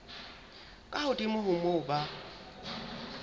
ka hodimo ho moo ba